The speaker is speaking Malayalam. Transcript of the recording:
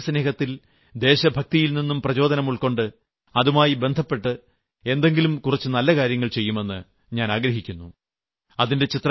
നിങ്ങളും ദേശസ്നേഹത്തിൽ ദേശഭക്തിയിൽ നിന്നും പ്രചോദനം ഉൾകൊണ്ട് അതുമായി ബന്ധപ്പെട്ട് എന്തെങ്കിലും നല്ല കുറച്ച് കാര്യങ്ങൾ ചെയ്യുമെന്ന് ഞാൻ ആഗ്രഹിക്കുന്നു